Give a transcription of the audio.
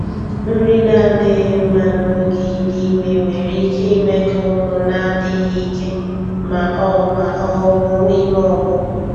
Nri na-adịghị mma n'oge idị ime nwere ike ime ka ụmụ na-adịghị ike ma ọ ma ọ bụ ime ọpụpụ.